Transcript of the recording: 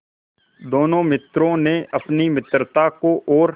दोनों मित्रों ने अपनी मित्रता को और